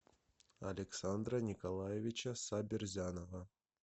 александра николаевича сабирзянова